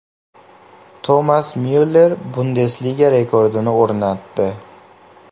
Tomas Myuller Bundesliga rekordini o‘rnatdi.